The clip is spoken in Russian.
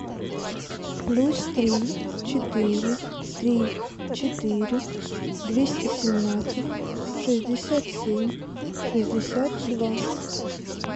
плюс три четыре три четыре двести семнадцать шестьдесят семь шестьдесят два